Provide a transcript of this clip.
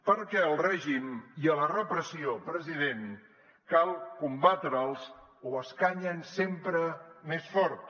perquè al règim i a la repressió president cal combatre’ls o escanyen sempre més fort